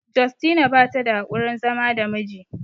Justina bata da haƙurin zama da miji